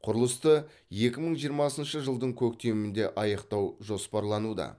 құрылысты екі мың жиырмасыншы жылдың көктемінде аяқтау жоспарлануда